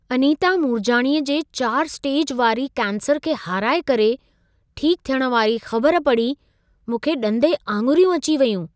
अनीता मूरजाणीअ जे 4 स्टेज वारी कैंसर खे हाराए करे ठीक थियण वारी ख़बर पढ़ी मूंखे ॾंदे आङुरियूं अची वयूं!